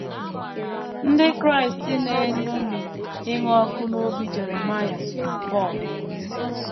Ndị Kraịst na - eṅomi ịnụ ọkụ n’obi Jeremaịa na Pọl